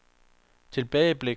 tilbageblik